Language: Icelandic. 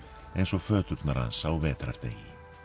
eins og föturnar hans á vetrardegi